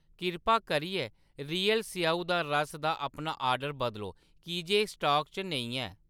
किरपा करियै रियल स्येऊ दा रस दा अपना ऑर्डर बदलो की जे एह्‌‌ स्टाक च नेईं ऐ